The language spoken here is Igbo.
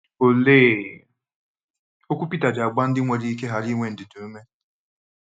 Olee okwu Pita ji agba ndị nwere ike ghara inwe ndidi ume?